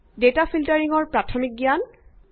data ফিল্টাৰিঙৰ প্ৰাথমিক জ্ঞান